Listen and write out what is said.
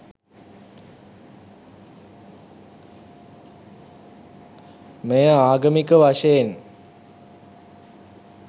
මෙය ආගමික වශයෙන්